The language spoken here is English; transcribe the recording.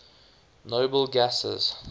noble gases